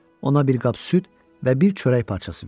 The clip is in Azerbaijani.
Ona bir qab süd və bir çörək parçası verdi.